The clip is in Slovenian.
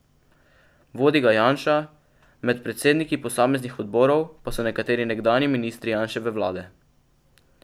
Vodi ga Janša, med predsedniki posameznih odborov pa so nekateri nekdanji ministri Janševe vlade.